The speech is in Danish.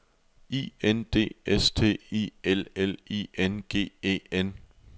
I N D S T I L L I N G E N